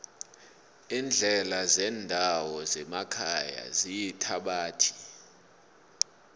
iindlela zendawo zemakhaya ziyithabathi